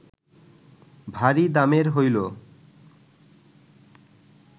ভারী দামের হইল